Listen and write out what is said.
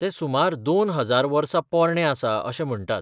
तें सुमार दोन हजार वर्सां पोरणें आसा अशें म्हणटात.